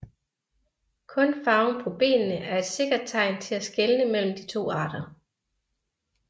Kun farven på benene er et sikkert tegn til at skelne mellem de to arter